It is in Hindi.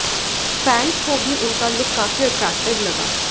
फैंस को भी उनका लुक काफी अट्रैक्टिव लगा